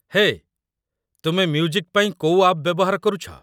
ହେ, ତୁମେ ମ୍ୟୁଜିକ୍ ପାଇଁ କୋଉ ଆପ୍ ବ୍ୟବହାର କରୁଛ?